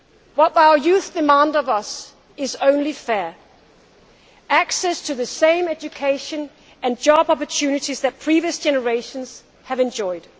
What our youth demand of us is only fair access to the same education and job opportunities that previous generations have enjoyed.